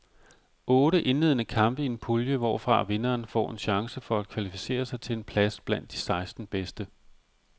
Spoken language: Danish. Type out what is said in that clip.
Otte indledende kampe i en pulje, hvorfra vinderen får en chance for at kvalificere sig til en plads blandt de seksten bedste.